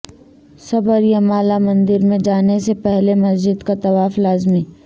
سبریمالا مندر میں جانے سے پہلے مسجد کا طواف لازمی